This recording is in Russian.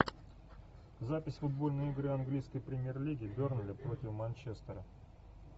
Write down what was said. запись футбольной игры английской премьер лиги бернли против манчестера